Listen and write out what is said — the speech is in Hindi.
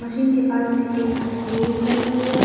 मशीन के पास में एक लेडीस खड़ी हुई है।